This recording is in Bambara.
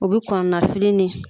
U bi kɔnɔnafili ni.